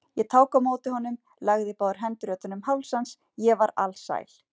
Ég tók á móti honum, lagði báðar hendur utan um háls hans, ég var alsæl.